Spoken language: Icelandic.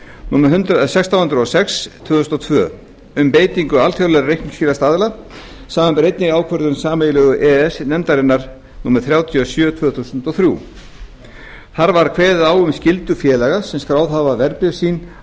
númer sextán hundruð og sex tvö þúsund og tvö um beitingu alþjóðlegra reikningsskilastaðla samanber einnig ákvörðun sameiginlegu e e s nefndarinnar númer þrjátíu og sjö tvö þúsund og þrjú þar var kveðið á um skyldu félaga sem skráð hafa verðbréf sín